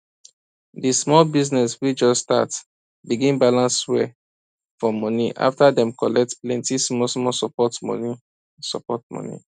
di small business wey just start begin balance well for money after dem collect plenty smallsmall support money support money